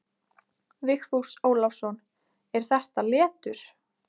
Vigfús Ólafsson: Er þetta letur?